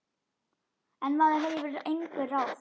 En maður hefur einhver ráð.